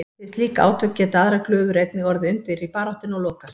Við slík átök geta aðrar glufur einnig orðið undir í baráttunni og lokast.